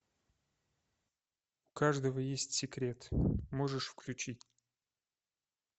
у каждого есть секрет можешь включить